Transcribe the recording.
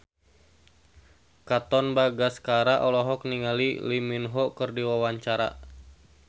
Katon Bagaskara olohok ningali Lee Min Ho keur diwawancara